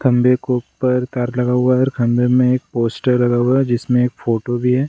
खम्बे के ऊपर तार लगा हुआ है और खम्बे में एक पोस्टर लगा हुआ है जिसमें एक फोटो भी है।